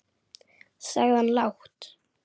sagði hann lágt.